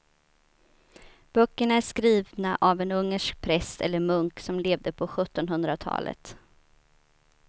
Böckerna är skrivna av en ungersk präst eller munk som levde på sjuttonhundratalet.